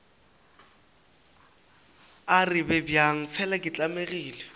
arabe bjang fela ke tlamegile